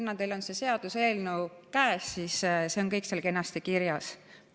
Kuna teil on see seaduseelnõu käes, siis see on kõik seal kenasti kirjas.